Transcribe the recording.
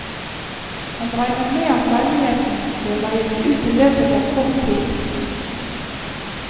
Han regner med at leiligheten blir leiet ut i løpet av kort tid.